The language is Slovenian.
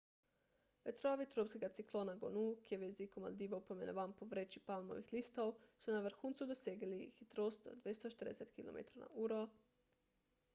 vetrovi tropskega ciklona gonu ki je v jeziku maldivov poimenovan po vreči palmovih listov so na vrhuncu dosegali hitrost do 240 kilometrov na uro 149 milj na uro